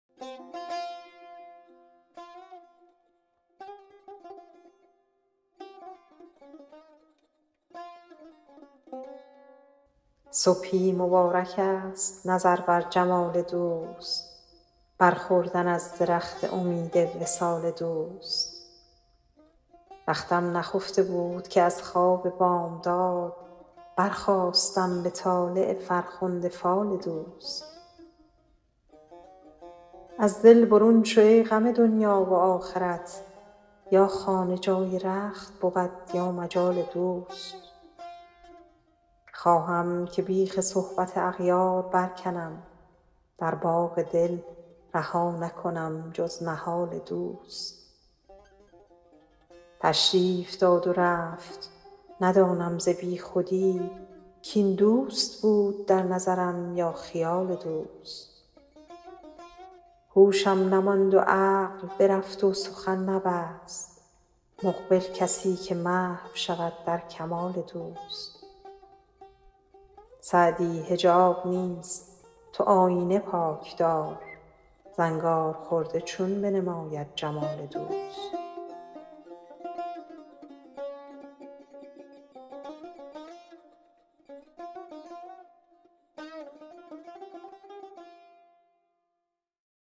صبحی مبارکست نظر بر جمال دوست بر خوردن از درخت امید وصال دوست بختم نخفته بود که از خواب بامداد برخاستم به طالع فرخنده فال دوست از دل برون شو ای غم دنیا و آخرت یا خانه جای رخت بود یا مجال دوست خواهم که بیخ صحبت اغیار برکنم در باغ دل رها نکنم جز نهال دوست تشریف داد و رفت ندانم ز بیخودی کاین دوست بود در نظرم یا خیال دوست هوشم نماند و عقل برفت و سخن نبست مقبل کسی که محو شود در کمال دوست سعدی حجاب نیست تو آیینه پاک دار زنگارخورده چون بنماید جمال دوست